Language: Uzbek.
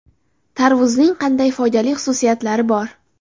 Tarvuzning qanday foydali xususiyatlari bor?.